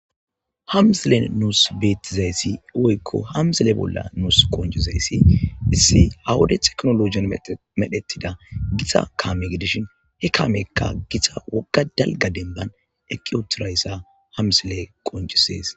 ha misilen nuus beettizayssi woykko hamzile bolla nuus qoncizaysi issi awude teknolojiyan medhettida gitxa kaame gidishin he kaamekka githa wogga dalga denban eqi utirayssa hamsile qoncisees